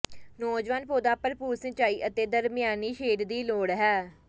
ਨੌਜਵਾਨ ਪੌਦਾ ਭਰਪੂਰ ਸਿੰਚਾਈ ਅਤੇ ਦਰਮਿਆਨੀ ਸ਼ੇਡ ਦੀ ਲੋੜ ਹੈ